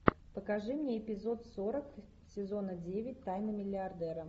покажи мне эпизод сорок сезона девять тайны миллиардера